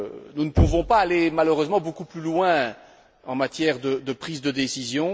Nous ne pouvons pas aller, malheureusement, beaucoup plus loin en matière de prise de décision.